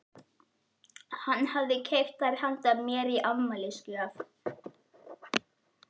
Hann hafði keypt þær handa mér í afmælisgjöf.